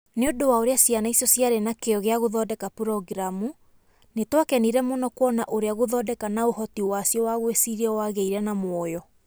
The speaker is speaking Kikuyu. Nĩ ũndũ wa ũrĩa ciana icio ciarĩ na kĩyo gĩa gũthondeka programu, nĩ twakenire mũno kuona ũrĩa gũthondeka na ũhoti wacio wa gwĩciria wagĩire na mwoyo.